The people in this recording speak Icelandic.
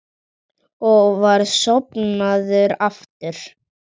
Mun sennilegri skýring á seinlæti Listasafnsins er skortur á vitneskju um hvað safnið vantar.